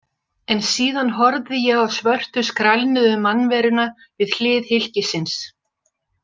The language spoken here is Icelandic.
En síðan horfði ég á svörtu skrælnuðu mannveruna við hlið hylkisins.